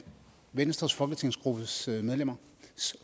venstres folketingsgruppes medlemmers